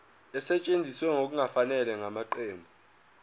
esetshenziswe ngokungafanele ngamaqembu